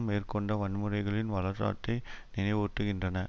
மேற்கொண்ட வன்முறைகளின் வரலாற்றை நினைவூட்டுகின்றன